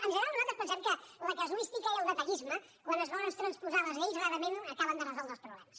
en general nosaltres pensem que la casuística i el detallisme quan es volen transposar les lleis rarament acaben de resoldre els problemes